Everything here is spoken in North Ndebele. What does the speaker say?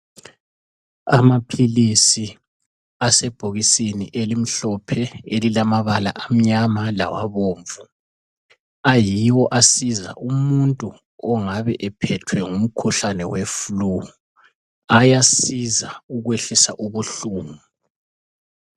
Amaphilisi asebhokisini elimhlophe elilamabala amnyama lawabomvu ayiwo asiza umuntu ongabe ephethwe ngumkhuhlane wefulu ayasiza ukwehlisa ubuhlungu.